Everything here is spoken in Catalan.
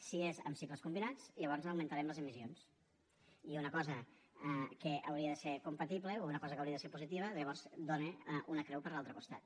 si és amb cicles combinats llavors augmentarem les emissions i una cosa que hauria de ser compatible o una cosa que hauria de ser positiva llavors dóna una creu per l’altre costat